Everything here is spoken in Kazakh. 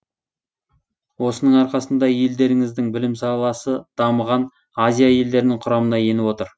осының арқасында елдеріңіздің білім саласы дамыған азия елдерінің құрамына еніп отыр